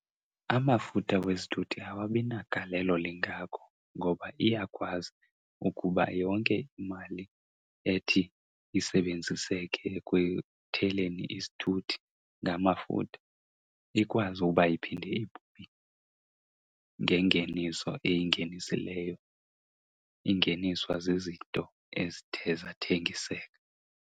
Amafutha wesithuthi awabi nagalelo lingako ngoba iyakwazi ukuba yonke imali ethi isebenziseke ekutheleni isithuthi ngamafutha ikwazi uba iphinde ibuye ngengeniso eyingenisileyo, ingeniswa zizinto ezithe zathengiseka.